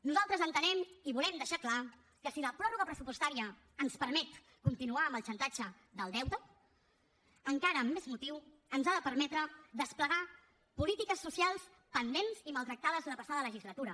nosaltres entenem i volem deixar clar que si la pròrroga pressupostària ens permet continuar amb el xantatge del deute encara amb més motiu ens ha de permetre desplegar polítiques socials pendents i maltractades la passada legislatura